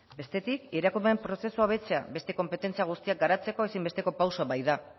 bestetik irakurmen prozesua hobetzea beste konpetentzia guztiak garatzeko ezinbesteko pausoa baita